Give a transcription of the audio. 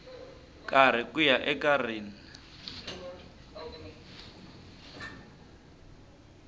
karhi ku ya eka rin